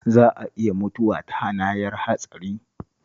Za a iya mutuwa ta hanayar hatsari